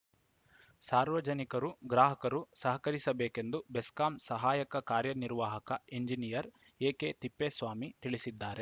ಸಾರ್ವಜನಿಕರು ಗ್ರಾಹಕರು ಸಹಕರಿಸಬೇಕೆಂದು ಬೆಸ್ಕಾಂ ಸಹಾಯಕ ಕಾರ್ಯನಿರ್ವಾಹಕ ಎಂಜಿನಿಯರ್‌ ಎಕೆ ತಿಪ್ಪೇಸ್ವಾಮಿ ತಿಳಿಸಿದ್ದಾರೆ